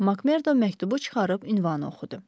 Makmerdo məktubu çıxarıb ünvanı oxudu.